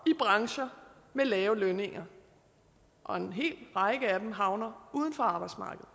i brancher med lave lønninger og en hel række af dem havner uden for arbejdsmarkedet